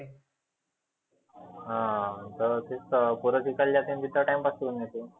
हा दर रोज तेच पोरं शिकले जाते ना तिथं time pass करुण येते.